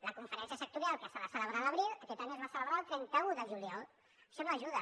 la conferència sectorial que s’ha de celebrar a l’abril aquest any es va celebrar el trenta un de juliol això no hi ajuda